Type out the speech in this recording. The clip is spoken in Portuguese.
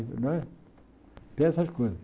Não é tem essas coisas.